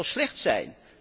Dat zou slecht zijn.